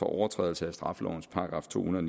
overtrædelse af straffelovens § to hundrede